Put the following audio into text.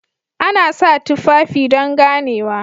Ana sa tufafi don ganewa